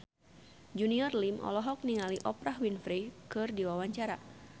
Junior Liem olohok ningali Oprah Winfrey keur diwawancara